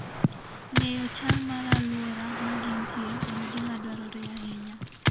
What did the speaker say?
Ng'eyo chal mar alwora ma gintie en gima dwarore ahinya.